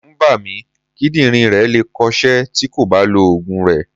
Ẹ̀rù ń bà mí, kídírìn rẹ̀ le è kọ ṣẹ́ tí kò bá lọ Ògùn rẹ̀.